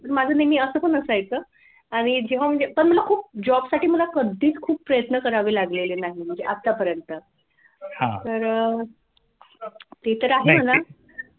पण माझं नेहमी असं पण असायच आणि जेव्हा म्हणजे पण मला खूप job साठी मला कधीच खूप प्रयत्न करावे लागलेले नाही म्हणजे आतापर्यंत तरं अह ते तर आहे म्हणा